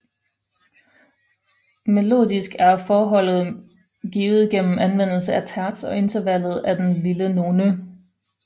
Melodisk er forholdet givet gennem anvendelse af terts og intervallet den lille none